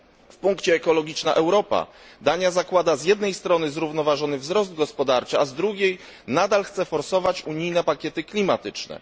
W punkcie ekologiczna Europa Dania zakłada z jednej strony zrównoważony wzrost gospodarczy, a z drugiej nadal chce forsować unijne pakiety klimatyczne.